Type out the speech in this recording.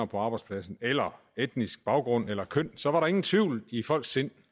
på arbejdspladsen eller etnisk baggrund eller køn så var der ingen tvivl i folks sind